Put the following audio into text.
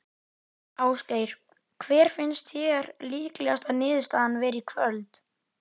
Ásgeir: Hver finnst þér líklegasta niðurstaðan vera í kvöld?